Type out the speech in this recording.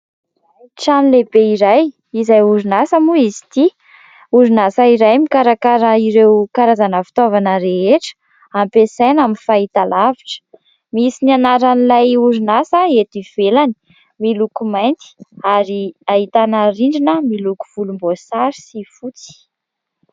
Trano lehibe iray izay orinasa mo izy ity. Orinasa iray mikarakara ireo karazana fitaovana rehetra ampiasaina amin'ny fahitalavitra. Misy ny anaran'ilay orinasa eto ivelany, miloko mainty ary ahitana rindrina miloko volomboasary sy fotsy.